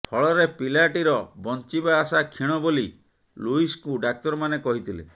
ଫଳରେ ପିଲାଟିର ବଞ୍ଚିବା ଆଶା କ୍ଷୀଣ ବୋଲି ଲୁଇସଙ୍କୁ ଡାକ୍ତରମାନେ କହିଥିଲେ